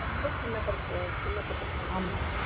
ரொம்ப சின்ன பட்டிருப்பாங்கள